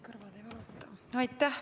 Palun!